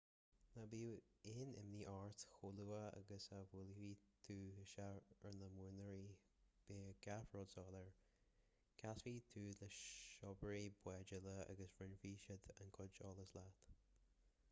ná bíodh aon imní ort chomh luath agus a bhuailfidh tú isteach ar na muiríní beidh gach rud soiléir casfaidh tú le síobairí báid eile agus roinnfidh siad a gcuid eolais leat